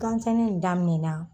Gan sɛnɛ in daminɛna.